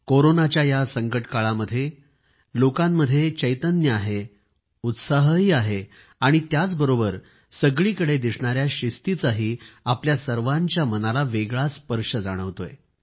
कोरोनाच्या या संकटकाळामध्ये लोकांमध्ये उमंग आहे उत्साहही आहे आणि त्याचबरोबर सगळीकडे दिसणाया शिस्तीचाही आपल्या सर्वांच्या मनाला वेगळाच स्पर्श जाणवतोय